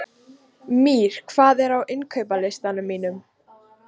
Mír, hvað er á innkaupalistanum mínum?